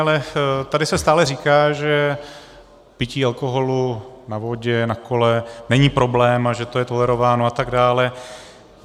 Ale tady se stále říká, že pití alkoholu na vodě, na kole není problém a že to je tolerováno, a tak dále.